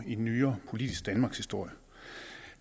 i den nyere politiske danmarkshistorie